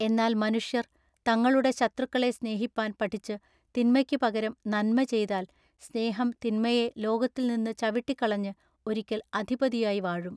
എന്നാൽ മനുഷ്യർ തങ്ങളുടെ ശത്രുക്കളെ സ്നേഹിപ്പാൻ പഠിച്ചു തിന്മയ്ക്കു പകരം നന്മ ചെയ്താൽ സ്നേഹം തിന്മയെ ലോകത്തിൽനിന്ന് ചവിട്ടിക്കളഞ്ഞ് ഒരിക്കൽ അധിപതിയായി വാഴും.